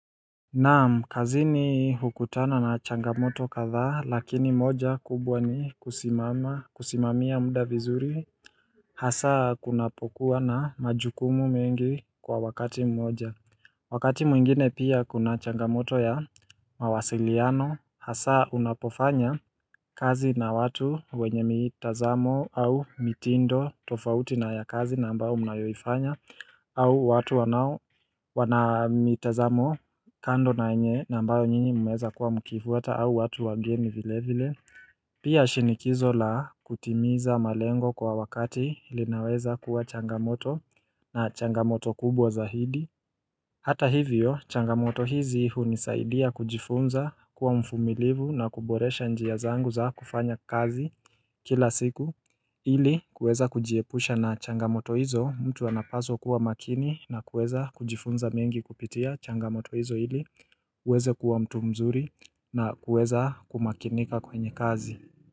Naam, kazini hukutana na changamoto kadhaa lakini moja kubwa ni kusimama kusimamia muda vizuri, hasa kunapokuwa na majukumu mengi kwa wakati mmoja Wakati mwingine pia kuna changamoto ya mawasiliano, hasa unapofanya kazi na watu wenye mitazamo au mitindo tofauti na ya kazi na ambayo mnayoifanya au watu wanao wana mitazamo kando na enye na ambayo nyinyi mmeweza kuwa mkifuata au watu wageni vile vile Pia shinikizo la kutimiza malengo kwa wakati lilinaweza kuwa changamoto na changamoto kubwa zahidi Hata hivyo changamoto hizi hunisaidia kujifunza kuwa mfumilivu na kuboresha njia zangu za kufanya kazi kila siku ili kuweza kujiepusha na changamoto hizo mtu anapaswa kuwa makini na kuweza kujifunza mengi kupitia changamoto hizo ili kuweza kuwa mtu mzuri na kuweza kumakinika kwenye kazi.